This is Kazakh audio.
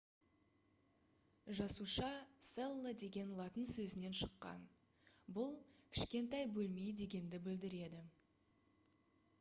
жасуша cella деген латын сөзінен шыққан бұл «кішкентай бөлме» дегенді білдіреді